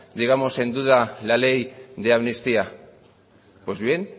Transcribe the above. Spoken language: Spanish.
en duda la ley de amnistía pues bien